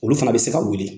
Olu fana bɛ se ka wuli